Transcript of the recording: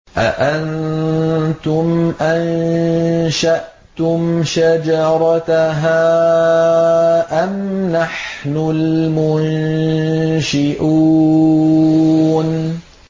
أَأَنتُمْ أَنشَأْتُمْ شَجَرَتَهَا أَمْ نَحْنُ الْمُنشِئُونَ